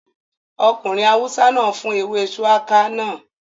Ọkùnrin awúsá náà fún ewé shùwákà náà